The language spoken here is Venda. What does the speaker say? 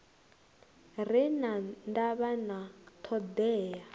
re na ndavha na thoḓea